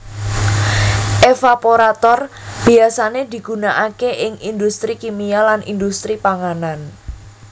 Evaporator biyasane digunakake ing industri kimia lan industri panganan